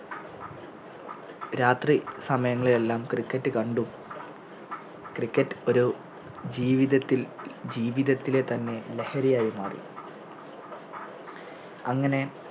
രാത്രി സമയങ്ങളിലെല്ലാം Cricket കണ്ടും Cricket ഒരു ജീവിതത്തിൽ ജീവിതത്തിലെ തന്നെ ലഹരിയായി മാറി അങ്ങനെ